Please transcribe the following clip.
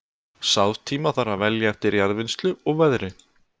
Sáðtíma þarf að velja eftir jarðvinnslu og veðri.